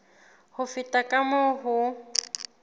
ho feta ka moo ho